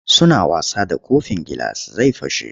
Suna wasa da kofin gilas zai fashe.